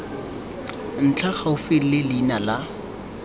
ntlha gaufi le leina la